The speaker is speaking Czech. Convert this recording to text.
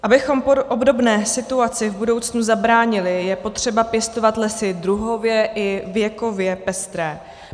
Abychom obdobné situaci v budoucnu zabránili, je potřeba pěstovat lesy druhově i věkově pestré.